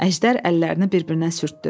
Əjdər əllərini bir-birinə sürtdü.